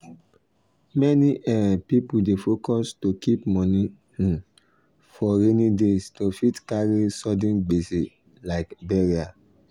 many um people dey focus to keep moni um for rainy day to fit carry sudden gbese like burial